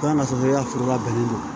Dɔn ka sɔrɔ i ya foro labɛnnen don